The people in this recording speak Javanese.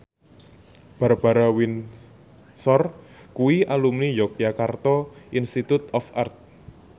Barbara Windsor kuwi alumni Yogyakarta Institute of Art